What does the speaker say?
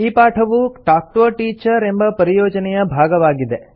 ಈ ಪಾಠವು talk to a teacher ಎಂಬ ಪರಿಯೋಜನೆಯ ಭಾಗವಾಗಿದೆ